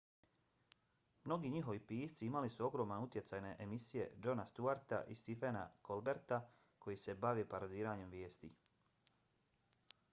mnogi njihovi pisci imali su ogroman utjecaj na emisije jona stewarta i stephena colberta koje se bave parodiranjem vijesti